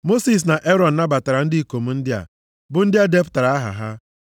Mosis na Erọn nabatara ndị ikom ndị a, bụ ndị e depụtara aha ha.